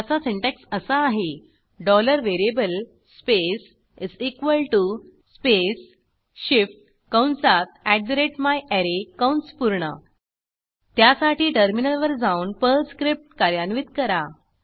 त्याचा सिन्टॅक्स असा आहे variable स्पेस स्पेस shift कंसात myArray कंस पूर्ण त्यासाठी टर्मिनलवर जाऊन पर्ल स्क्रिप्ट कार्यान्वित करा